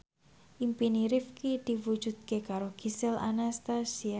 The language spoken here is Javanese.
impine Rifqi diwujudke karo Gisel Anastasia